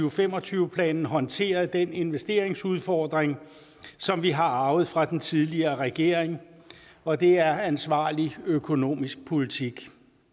og fem og tyve planen håndteret den investeringsudfordring som vi har arvet fra den tidligere regering og det er ansvarlig økonomisk politik